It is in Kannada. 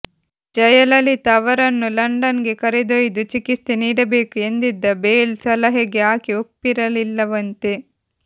ಜಯಲಲಿತಾ ಅವರನ್ನು ಲಂಡನ್ ಗೆ ಕರೆದೊಯ್ದು ಚಿಕಿತ್ಸೆ ನೀಡಬೇಕು ಎಂದಿದ್ದ ಬೇಲ್ ಸಲಹೆಗೆ ಆಕೆ ಒಪ್ಪಿರಲಿಲ್ಲವಂತೆ